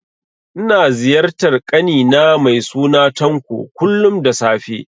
Ina ziyartar ƙani na mai suna Tanko, kullum da safe